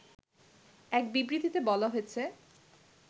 এক বিবৃতিতে বলা হয়েছে